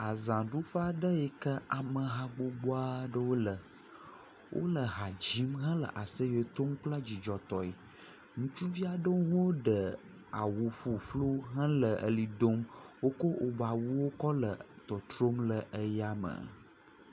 Azaɖuƒe aɖe yi ke ameha gbogbo aɖewo le. Wo le ha dzim hele aseye dom kple dzidzɔtɔe. Ŋutsuvi aɖewo ɖe awu ƒuƒlu hele eʋli dom. Woko wobe awuwo kɔ le trotrom le eya me.